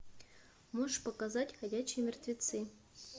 можешь показать ходячие мертвецы